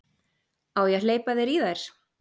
Á ég að hleypa þér í þær?